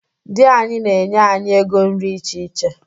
Di anyị na-enye anyị ego nri iche iche.